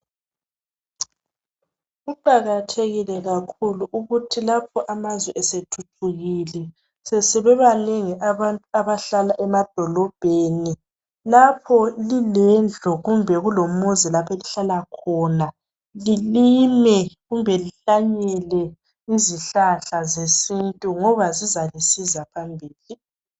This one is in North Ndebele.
Kuqakathekile kakhulu, ukuthi lapho amazwe esethuthukile. Sebebanengi abantu abahlala emadolobheni. Lapho lilendlu, loba lilomuzi, lapha elihlala khona. Lilime loba lihlanyele izihlahla zesintu, ngoba zizalisiza phambili,